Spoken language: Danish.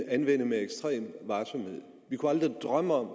anvende med ekstrem varsomhed vi kunne aldrig drømme om